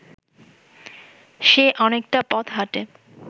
সে অনেকটা পথ হাঁটে